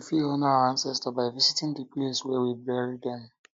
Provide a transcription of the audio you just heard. we fit honour our ancestor by visiting di place um wey we bury them